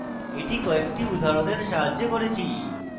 এটি কয়েকটি উদাহরণের সাহায্যে করেছি